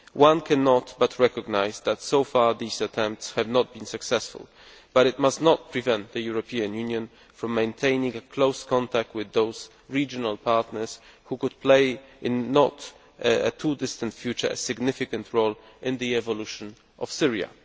One cannot but recognise that so far these attempts have not been successful, but that must not prevent the European Union from maintaining close contact with those regional partners which could, in a not too distant future, play a significant role in the evolution of Syria.